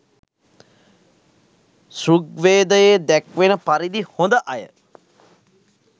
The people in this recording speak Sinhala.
ඍග්වේදයේ දැක්වෙන පරිදි හොඳ අය